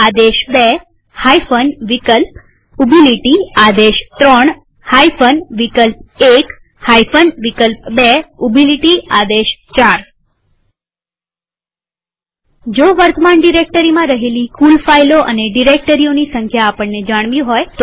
આદેશ2 વિકલ્પ|આદેશ3 વિકલ્પ1 વિકલ્પ2|આદેશ4 વર્તમાન ડિરેક્ટરીમાં રહેલી કુલ ફાઈલો અને ડિરેક્ટરીઓની સંખ્યા આપણને જાણવી હોય તો